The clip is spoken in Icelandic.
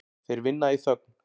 Þeir vinna í þögn.